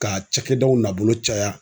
Ka cakɛdaw nabolo caya